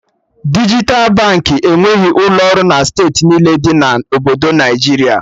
Dijital Baankị enweghị ụlọ ọrụ na steeti niile dị na Obodo Naịjiria